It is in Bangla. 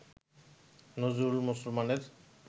নজরুল মুসলমানের